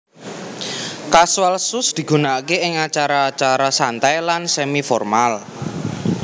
Casual Shoes digunakaké ing acara acara santai lan semi formal